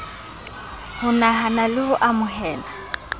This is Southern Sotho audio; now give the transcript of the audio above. ho nahana le ho amohela